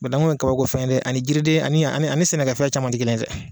Banaku ye kabakofɛn ye dɛ ani jiriden ani ani ani sɛnɛkɛfɛn caman tɛ kelen ye dɛ.